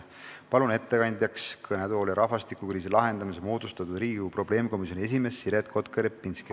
Kutsun ettekandeks kõnetooli rahvastikukriisi lahendamiseks moodustatud Riigikogu probleemkomisjoni esimehe Siret Kotka-Repinski.